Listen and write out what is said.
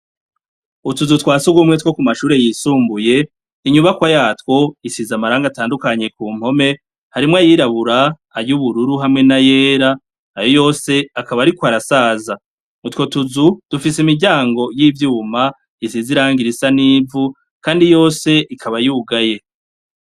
Utuzu twa sugumwe two ku mashure yisumbuye inyubako yatwo isiza amaranga atandukanye ku mpome harimwo ayirabura ayubururu hamwe na yera ayo yose akaba ari ko arasaza mutwo tuzu dufise imiryango y'ivyuma isiza irangira isa n'ivu, kandi yose ikaba yugaye.